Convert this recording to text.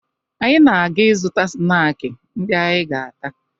Anyị na-aga ịzụta snaakị ndị anyị ga-ata